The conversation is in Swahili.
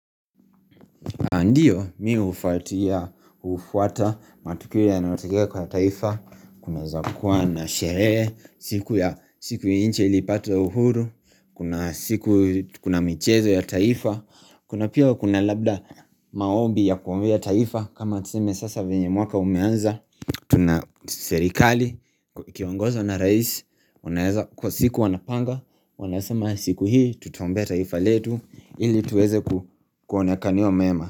Andiyo mi ufatia ufwata matukiri ya na watike kwa taifa Kuna zakuwa na sheree siku ya siku inche ilipata uhuru Kuna siku kuna michezo ya taifa. Kuna pia kuna labda maobi ya kuwambia taifa kama tseme sasa venye mwaka umeanza. Tuna serikali Kiongoza na raisi wanaeza kwa siku wanapanga Wanasema siku hii tutaombea taifa letu Ili tuweze kuonekaniwa mema.